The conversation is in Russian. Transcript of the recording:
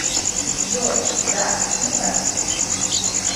джой да не так ли